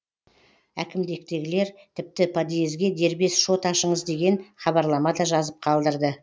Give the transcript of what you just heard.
әкімдіктегілер тіпті подъезге дербес шот ашыңыз деген хабарлама да жазып қалдырды